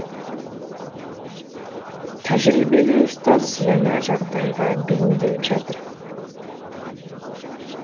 тәжірибелі ұстаз жаңа жағдайға бейімделіп жатыр